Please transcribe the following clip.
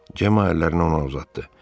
Cemma əllərini ona uzatdı.